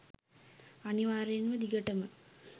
අනිවාර්යයෙන්ම දිගටම